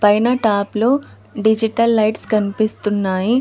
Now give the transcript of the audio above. పైన టాప్లో digital lights కనిపిస్తున్నాయి.